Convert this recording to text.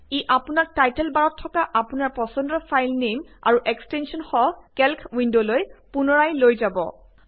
ই আপোনাক টাইটল বাৰত থকা আপোনাৰ পচণ্ডৰ ফাইল নেম আৰু এক্সটেঞ্চনসহ কেল্ক উইন্ডলৈ পুনৰাই লৈ যাব